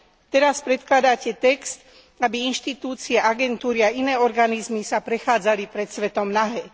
Teraz predkladáte text, aby inštitúcie, agentúry a iné organizmy sa prechádzali pred svetom nahé.